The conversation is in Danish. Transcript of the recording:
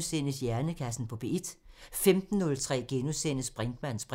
14:03: Hjernekassen på P1 * 15:03: Brinkmanns briks *